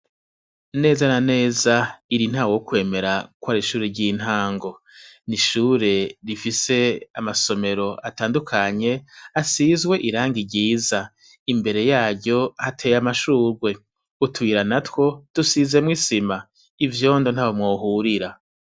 Neza na neza iri ntaworyemera ko ari ishure ryintango nishure rifise amasomero atandukanye asizwe irangi ryiza imbere yaryo hateye amashurwe utuyira natwo dusizemwo isima ivyondo ntaho mwohurira